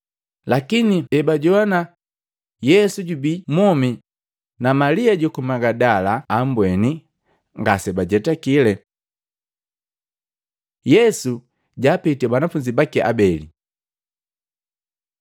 Lakini ebajoana Yesu jubii mwomi na Malia juku Magadala ambweni, ngase bajetakile. Yesu japitii banafunzi baki habeli Luka 24:13-35